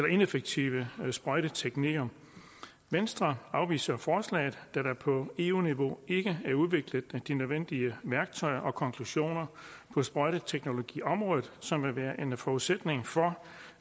ineffektive sprøjteteknikker venstre afviser forslaget da der på eu niveau ikke er udviklet de nødvendige værktøjer og konklusioner på sprøjteteknologiområdet som vil være en forudsætning for